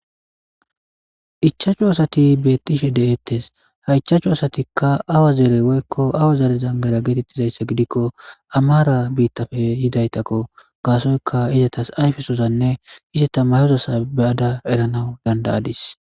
Ichachu asati beettishe de'ettes haychaachu asatikka awa zeere woykko awa zeere zangara geetettizayssa gidikko amaara biittafe yidaytakko gaasoyka izatas ayfesozanne iseta mayozasa be'ada eranawu dandayadis